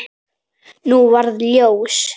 Nú varð ljós.